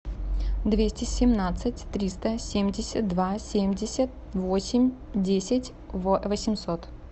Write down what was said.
двести семнадцать триста семьдесят два семьдесят восемь десять восемьсот